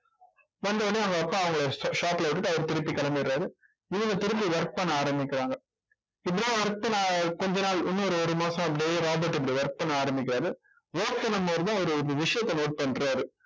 வந்தவுடனே அவங்க அப்பா அவங்களை shop ல விட்டுட்டு அவரு திருப்பி கிளம்பிடுறாரு. இவங்க திரும்பி work பண்ண ஆரம்பிக்கிறாங்க இப்படித்தான் கொஞ்ச நாள் இன்னொரு ஒரு மாசம் அப்படியே ராபர்ட் இப்படி work பண்ண ஆரம்பிக்கிறாரு work பண்ணும் போதுதான் அவரு இந்த விஷயத்தை note பண்றாரு